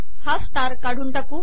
हा स्टार काढून टाकू